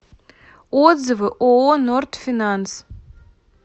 отзывы ооо норд финанс